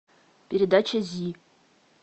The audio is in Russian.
передача зи